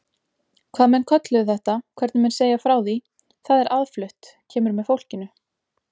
Hvað menn kölluðu þetta, hvernig menn segja frá því, það er aðflutt, kemur með fólkinu.